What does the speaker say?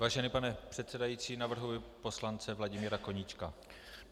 Vážený pane předsedající, navrhuji poslance Vladimíra Koníčka.